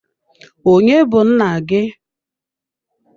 Onye bu nna gị?